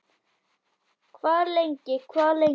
Hvað lengi, hvað lengi?